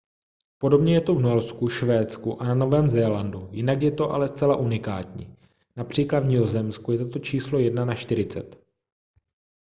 podobně je to v norsku švédsku a na novém zélandu jinak je to ale zcela unikátní např. v nizozemsku je toto číslo jedna na čtyřicet